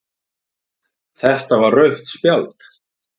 Þetta var rautt spjald.